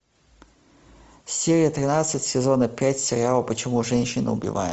серия тринадцать сезона пять сериала почему женщины убивают